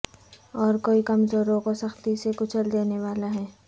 اور کوئی کمزوروں کو سختی سے کچل دینے والا ہے